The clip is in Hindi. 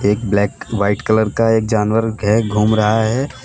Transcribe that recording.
एक ब्लैक व्हाइट कलर का एक जानवर के घूम रहा है।